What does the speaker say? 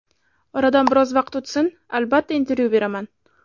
Oradan biroz vaqt o‘tsin, albatta, intervyu beraman.